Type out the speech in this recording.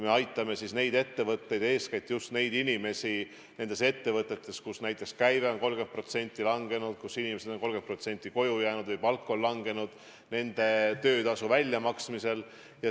Me aitame neid ettevõtteid ja eeskätt just inimesi nendes ettevõtetes, kus näiteks käive on 30% langenud, kus 30% inimestest on koju jäänud või nende palk on langenud, töötasu väljamaksmisel.